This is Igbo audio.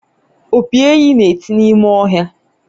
opi enyí na-eti n’ime ọhịa